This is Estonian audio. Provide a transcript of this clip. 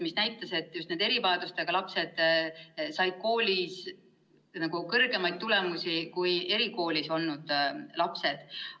See näitas, et just erivajadustega lapsed said koolis kõrgemaid tulemusi kui erikoolis olnud lapsed.